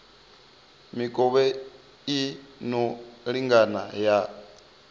mikovhe i no lingana ya